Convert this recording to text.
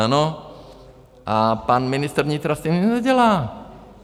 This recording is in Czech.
Ano, a pan ministr vnitra s tím nic nedělá.